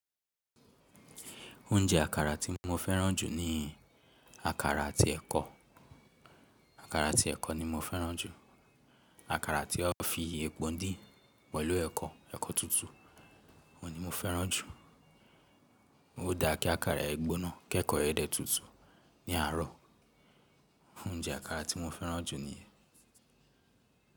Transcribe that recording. Oúnjẹ àkàrà tí mo fẹ́ràn jù ni àkàrà àti ẹ̀kọ. Àkàrà àti ẹ̀kọ ni mo fẹ́ràn jù. Àkàrà tí a fi epo dín pẹ̀lú ẹ̀kọ, ẹ̀kọ tútù, òun ni mo fẹ́ràn jù. Ó dára kí àkàrà yẹn gbónà ki èkọ ẹ dẹ tútù ní àárọ̀. Oúnjẹ àkàrà tí mo fẹ́ràn jù niyẹn.